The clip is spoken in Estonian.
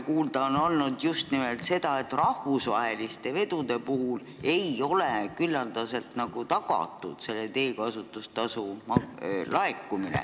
Kuulda on olnud just nimelt seda, et rahvusvaheliste vedude puhul ei ole teekasutustasu laekumine küllaldaselt tagatud.